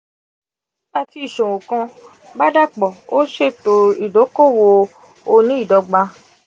ẹ ti ṣò kan bá dapọ o ṣẹto idokowo oni-idogba.